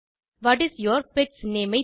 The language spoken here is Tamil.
what is your pet's name